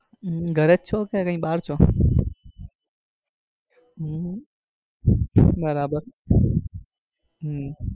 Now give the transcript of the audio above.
હમ ઘરે જ છો કે કઈ બાર છો? હમ બરાબર હમ